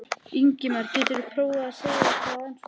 Ingimar: Geturðu prófað að segja eitthvað á ensku?